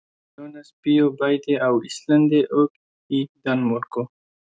Jónas bjó bæði á Íslandi og í Danmörku.